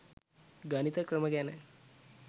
ගණිත ක්‍රම ගැන.